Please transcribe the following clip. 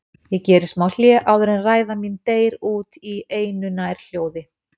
Ég geri smá hlé áður en ræða mín deyr út í einu nær hljóð